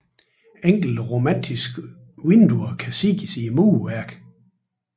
Enkelte romanske vinduer kan ses i murværket